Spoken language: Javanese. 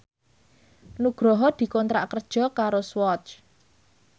Nugroho dikontrak kerja karo Swatch